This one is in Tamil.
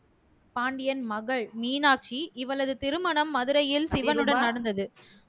பாண்டியன் மகள் மீனாட்சி இவளது திருமணம் மதுரையில் சிவனுடன் நடந்தது